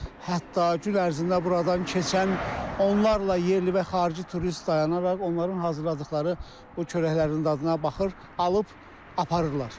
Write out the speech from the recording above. Hətta gün ərzində buradan keçən onlarla yerli və xarici turist dayanaraq onların hazırladıqları bu çörəklərin dadına baxır, alıb aparırlar.